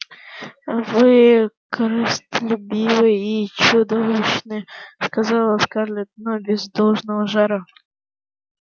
вы корыстолюбивы и чудовищны сказала скарлетт но без должного жара